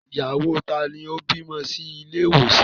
Ìyàwó taa ni ó bímọ sí ilé ìwòsàn?